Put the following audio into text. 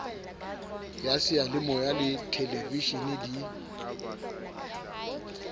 ya seyalemoya le theleveshene di